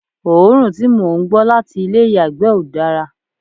òórùn tí mò ń gbọ́ láti ilé ìyàgbẹ́ ò dára